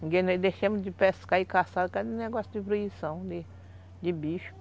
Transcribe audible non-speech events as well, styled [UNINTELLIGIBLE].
Ninguém, nós deixamos de pescar e caçar, [UNINTELLIGIBLE] aquele negócio de fruição, de bicho.